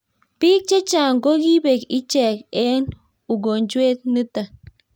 bik chechang ko ki bek ichen eng ukonjwet niton